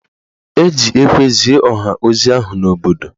E ji ekwe zie ọha ozi ahụ n'obodo